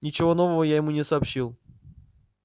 ничего нового я ему не сообщил